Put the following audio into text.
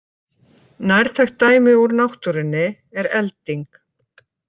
Nærtækt dæmi úr náttúrunni er elding.